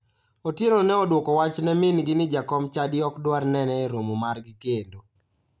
Otieno ne odwoko wach ne mingi ni jakom chadi ok dwar nene e romo margi kendo.